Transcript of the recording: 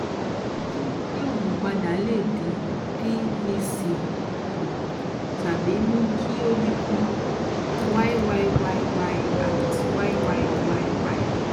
ṣé yíyí oogun padà lè dín pvc s kù tàbí mú kí ó dínkù? yyyy@yyyy